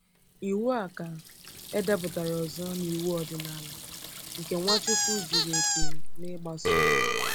Iwu a ka edepụtara ọzọ n’iwu ọdịnala, nke Nwachukwu zuru oke n’ịgbaso.